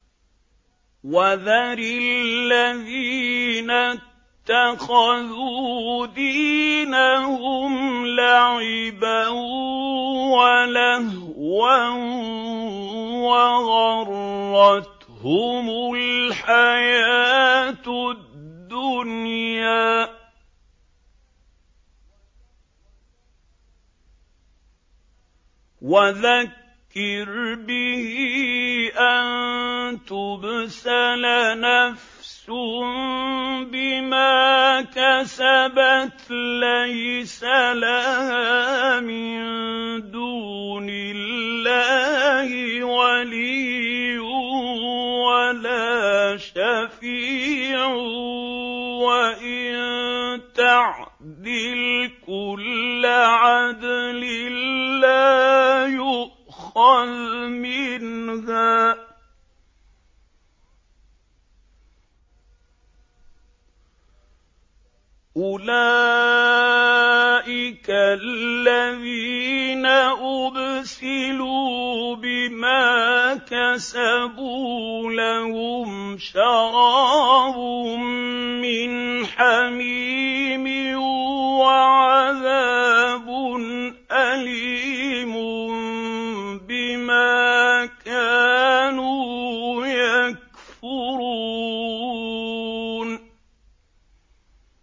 وَذَرِ الَّذِينَ اتَّخَذُوا دِينَهُمْ لَعِبًا وَلَهْوًا وَغَرَّتْهُمُ الْحَيَاةُ الدُّنْيَا ۚ وَذَكِّرْ بِهِ أَن تُبْسَلَ نَفْسٌ بِمَا كَسَبَتْ لَيْسَ لَهَا مِن دُونِ اللَّهِ وَلِيٌّ وَلَا شَفِيعٌ وَإِن تَعْدِلْ كُلَّ عَدْلٍ لَّا يُؤْخَذْ مِنْهَا ۗ أُولَٰئِكَ الَّذِينَ أُبْسِلُوا بِمَا كَسَبُوا ۖ لَهُمْ شَرَابٌ مِّنْ حَمِيمٍ وَعَذَابٌ أَلِيمٌ بِمَا كَانُوا يَكْفُرُونَ